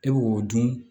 E b'o dun